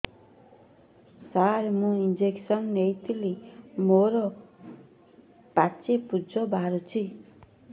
ସାର ମୁଁ ଇଂଜେକସନ ନେଇଥିଲି ମୋରୋ ପାଚି ପୂଜ ବାହାରୁଚି